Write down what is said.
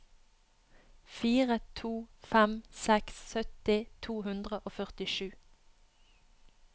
fire to fem seks sytti to hundre og førtisju